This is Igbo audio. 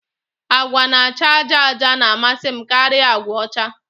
Agwa na-acha àjà àjà na-amasị m karịa agwa ọcha